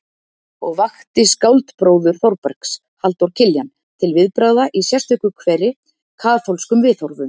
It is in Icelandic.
Og vakti skáldbróður Þórbergs, Halldór Kiljan, til viðbragða í sérstöku kveri: Kaþólskum viðhorfum.